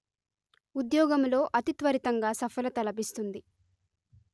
ఉద్యోగములో అతిత్వరితంగా సఫలత లభిస్తుంది